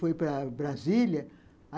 Fui para Brasília.